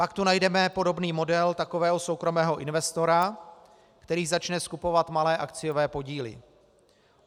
Pak tu najdeme podobný model takového soukromého investora, který začne skupovat malé akciové podíly.